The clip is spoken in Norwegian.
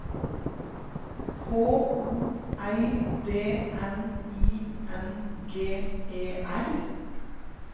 H O L D N I N G E R